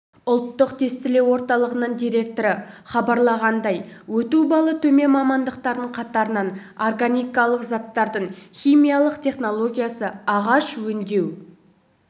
ұлттық тестілеу орталығының директоры хабарлағандай өту балы төмен мамандықтардың қатарынан органикалық заттардың химиялық технологиясы ағаш өңдеу